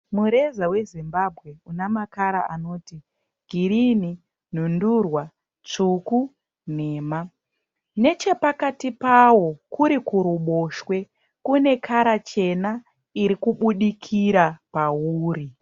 Mureza weZimbabwe una makara anoti girinhi, nhundurwa, tsvuku, nhema. Nechepakati pawo kuri kuruboshwe kune kara chena iri kubudikira pauri.